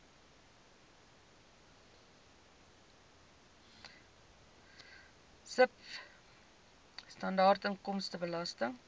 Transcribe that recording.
sibw standaard inkomstebelasting